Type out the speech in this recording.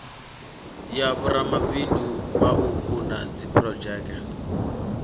ya vhoramabindu vhauku na dziphurodzheke